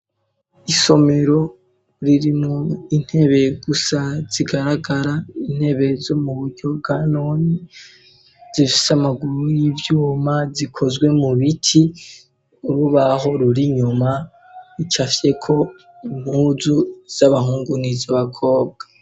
Isomero, ririmwo, intebe, gusa zigaragara, intebe zo mu buryo bwa noni ,zifise Amaguru y'ivyuma, zikozwe mu biti, urubaho ruri nyuma, icafye ko impuzu z'Abahungu n'iz'Abakobwa.